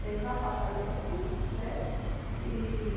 apartamentos, né? E